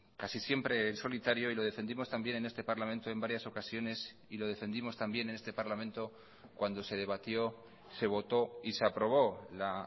casi siempre en solitario y lo defendimos también en este parlamento en varias ocasiones y lo defendimos también en este parlamento cuando se debatió se votó y se aprobó la